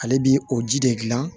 Ale bi o ji de gilan